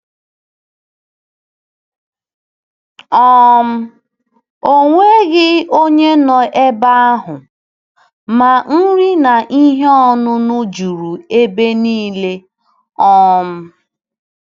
um O nweghị onye nọ n’ebe ahụ, ma nri na ihe ọṅụṅụ juru ebe niile um.